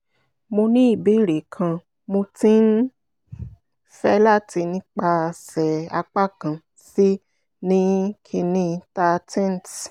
mo ni ibeere kan mo ti n fẹ lati bi nipasẹ apakan c [cs[ ni kínní thirteenth